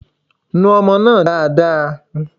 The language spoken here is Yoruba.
Nu ọmọ náà dáadáa.